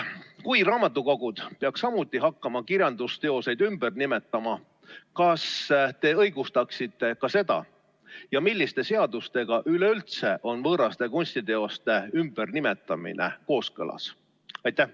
Kui raamatukogud peaks samuti hakkama kirjandusteoseid ümber nimetama, kas te õigustaksite ka seda ja milliste seadustega üleüldse on võõraste kunstiteoste ümbernimetamine kooskõlas?